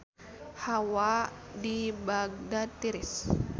Hawa di Bagdad tiris